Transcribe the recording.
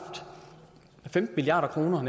femten milliard kroner